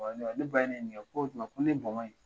Ne ba ye ne ɲininka k'o tuma ko ne bɔnbn